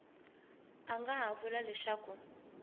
a nga ha vula leswaku